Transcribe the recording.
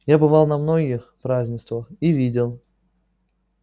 я бывал на многих празднествах и видел